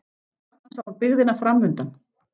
Þarna sá hún byggðina fram- undan.